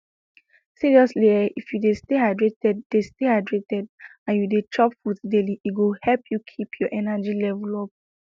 seriously ehh if you de stay hydrated de stay hydrated and you de chop fruits daily e go help you keep your energy level up